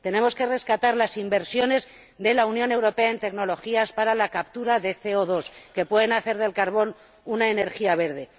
tenemos que rescatar las inversiones de la Unión Europea en tecnologías para la captura de CO 2 que pueden hacer del carbón una energía verde